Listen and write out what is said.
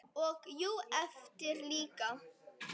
Og jú, erfitt líka.